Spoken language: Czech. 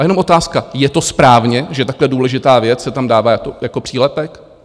A jenom otázka: Je to správně, že takhle důležitá věc se tam dává jako přílepek?